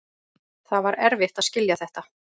Það var erfitt að skilja þetta.